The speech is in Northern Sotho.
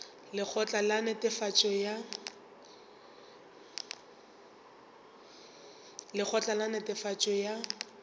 ke lekgotla la netefatšo ya